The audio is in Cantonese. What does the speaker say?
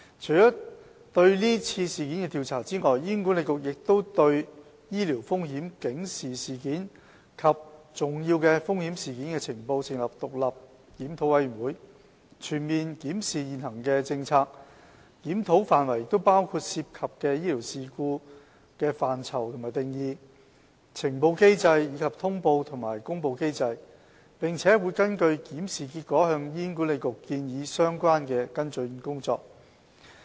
除了對是次事件的調查外，醫管局亦已對醫療風險警示事件及重要風險事件的呈報，成立獨立檢討小組，全面檢視現行的政策，檢討範圍包括涉及的醫療事故範疇及定義、呈報機制，以及通報和公布機制，並會根據檢視結果向醫管局建議相關的跟進工作。